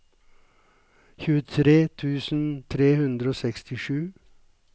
tjuetre tusen tre hundre og sekstisju